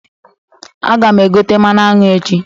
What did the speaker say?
Aga m egote mmanụ aṅụ echi.